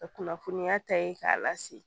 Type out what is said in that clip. Ka kunnafoniya ta ye k'a lase